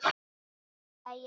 hrópaði ég aftur.